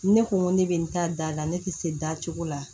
Ne ko n ko ne bɛ n ta da la ne tɛ se da cogo la